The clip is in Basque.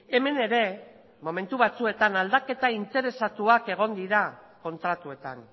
hemen ere momentu batzuetan aldaketa interesatuak egon dira kontratuetan